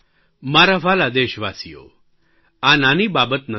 મારા વ્હાલા દેશવાસીઓ નાની બાબત નથી